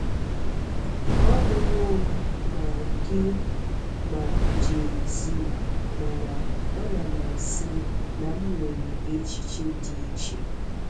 Ahụwo m ma gị ma Jay-Z, mana anam asị na m nwere echiche dị iche.